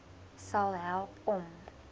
sal help om